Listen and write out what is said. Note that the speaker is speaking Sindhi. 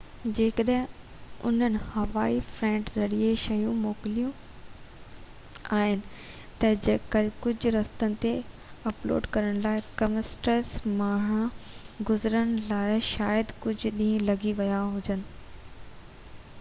جيڪڏهن انهن هوائي فريٽ ذريعي شيون موڪليون آهن ته ڪجهه رستن تي اپلوڊ ڪرڻ ۽ ڪسٽمز مان گذرڻ لاءِ شايد ڪجهه ڏينهن لڳي ويا هجن